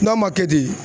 N'a ma kɛ di